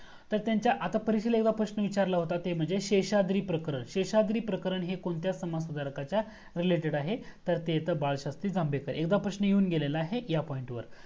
तर त्यांनच्या एकदा परीक्षेला प्रश्न विचारला होता तो म्हणजे शेषाद्री प्रकरण शेषाद्री प्रकरण हे कोणत्या समाज सुधारकच्या related आहे तर ते बाळशास्त्री जांभेकर एकदा प्रश्न येऊन गेलेला आहे या point वर